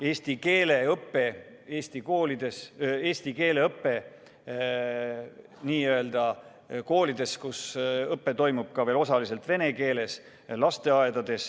Eesti keele õpe lasteaedades ja koolides, kus õpe toimub osaliselt vene keeles.